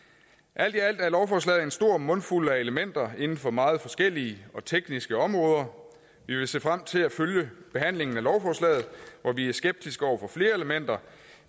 alt i alt er lovforslaget en stor mundfuld af elementer inden for meget forskellige og tekniske områder vi vil se frem til at følge behandlingen af lovforslaget hvor vi er skeptiske over for flere elementer